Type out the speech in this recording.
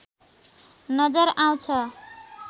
नजर आउँछ।